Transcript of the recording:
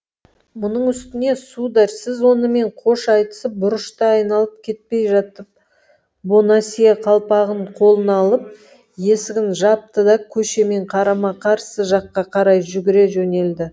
мұның үстіне сударь сіз онымен қош айтысып бұрышты айналып кетпей жатып бонасье қалпағын қолына алып есігін жапты да көшемен қарама қарсы жаққа қарай жүгіре жөнелді